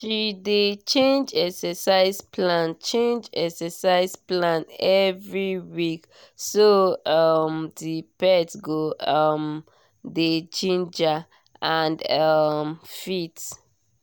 she dey change exercise plan change exercise plan every week so um the pet go um dey ginger and um fit